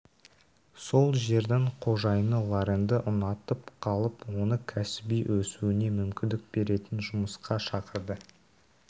сол жердің қожайыны лоренді ұнатып қалып оны кәсіби өсуіне мүмкіндік беретін жұмысқа шақырды